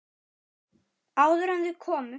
Áður en þau komu.